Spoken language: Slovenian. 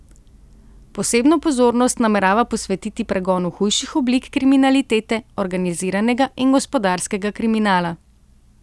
Posebno pozornost namerava posvetiti pregonu hujših oblik kriminalitete, organiziranega in gospodarskega kriminala.